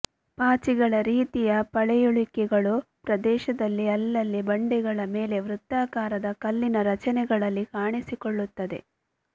ಪಾಚಿಗಳ ರೀತಿಯ ಪಳೆಯುಳಿಕೆಗಳು ಪ್ರದೇಶದಲ್ಲಿ ಅಲ್ಲಲ್ಲಿ ಬಂಡೆಗಳ ಮೇಲೆ ವೃತ್ತಾಕಾರದ ಕಲ್ಲಿನ ರಚನೆಗಳಲ್ಲಿ ಕಾಣಿಸಿಕೊಳ್ಳುತ್ತದೆ